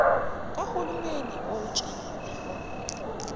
kahu lumeni wokutshala